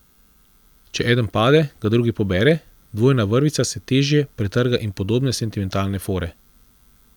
Če eden pade, ga drugi pobere, dvojna vrvica se težje pretrga in podobne sentimentalne fore.